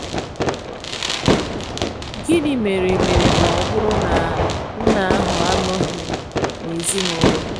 Gịnị mere mere ma ọ bụrụ na nna ahụ anọghị n' ezinụlọ?